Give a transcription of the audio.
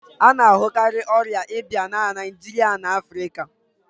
A na-ahụkarị ọrịa ìbá na Naịjirịa na Afrịka